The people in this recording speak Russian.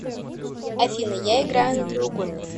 афина я играю на треугольнике